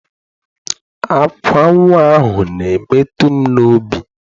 Ákwá nnwa ahụ na-emetụ m n'obi.